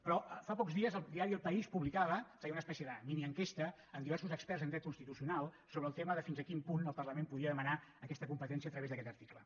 però fa pocs dies el diari el país publicava feia una espècie de minienquesta amb diversos experts en dret constitucional sobre el tema de fins a quin punt el parlament podia demanar aquesta competència a través d’aquest article